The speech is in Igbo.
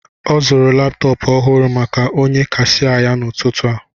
Ọ zụrụ laptọọpụ ọhụrụ maka onye kasia ya n'ụtụtụ a